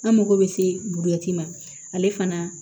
An mago bɛ se buɲɛti ma ale fana